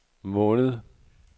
måned